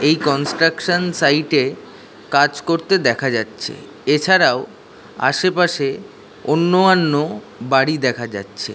এই কনস্ট্রাকশন সাইটে কাজ করতে দেখা যাচ্ছে এছাড়াও আশেপাশে অন্য আন্য বাড়ি দেখা যাচ্ছে।